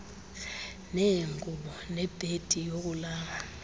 neengubo nebhedi yokulala